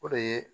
O de ye